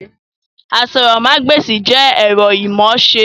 Àsòrọmagbesi jẹ ẹ̀rọ imọ̀ọ́ṣe